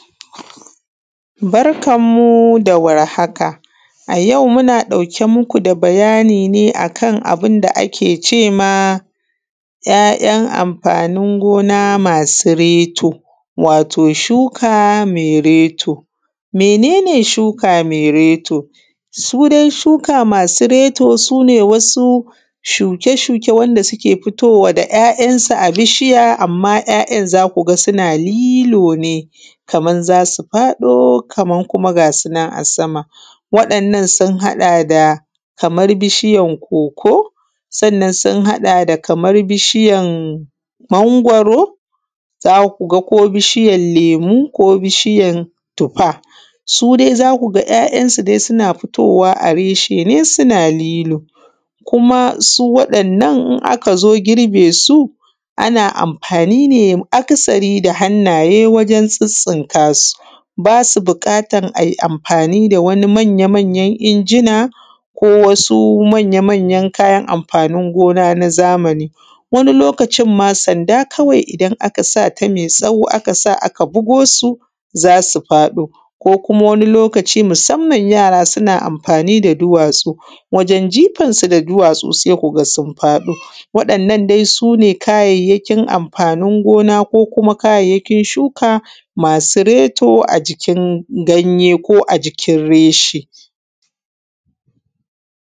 Barkan mu da warhaka. A yau muna ɗauke muku da bayani akan ‘ya’’yan’ amfanin gona masu reto wato shuka masu reto. Mene ne shuka mai reto? Shuka masu reto sune wasu shuke shuke wanda suke fitowa da ‘ya’yan’ su a bishiya amma ‘ya’yan’ zaku ga suna lilo ne Kaman zasu faɗo Kaman kuma ga sunan a sama. Wannan sun haɗa da Kaman bishiyan koko, sannan sun haɗa da Kaman bishiyan mangwaro za kuga ko biyan lemu ko biyan tufa. Su dai zakuga ‘ya’yan’ sudai suna fitowa reshe ne suna lilo kuma waɗannan in akazo girbe su ana amfani ne aka sari da hannaye wajen tsitstsinka su, basu buƙatan ai amfani da wani manya manyan injin ko wasu manya manya kayan amfanin gona na zamani. wani lokacin ma sanda kawai idan aka sata maitsawo aka bugosu zasu faɗo ko kuma wani lokaci musamman wasu yara suna amfanmi da duwatsu, wajen jifan su da duwatsu zasu faɗo, waɗannan dai sune kayyakin amfanin gona ko kuma kayyakin shuka masu reto a jikin ganye ko ajikin reshe.